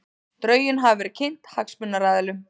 Drögin hafa verið kynnt hagsmunaaðilum